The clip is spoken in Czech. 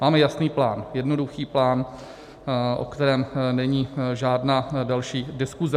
Máme jasný plán, jednoduchý plán, o kterém není žádná další diskuze.